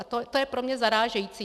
A to je pro mě zarážející.